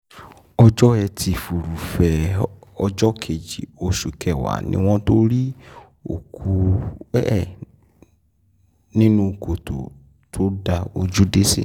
ọjọ́ etí furuufee ọjọ́ kejì oṣù kẹwàá ni wọ́n tóó rí òkú ẹ̀ nínú kòtò tó dá ojú dé sí